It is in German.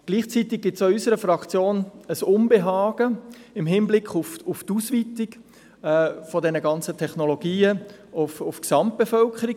Gleichzeitig gibt es auch in unserer Fraktion ein Unbehagen im Hinblick auf die Ausweitung dieser Technologien auf die Gesamtbevölkerung.